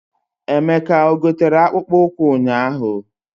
Emeka o gotere akpụkpọ ụkwụ ụnyaahụ?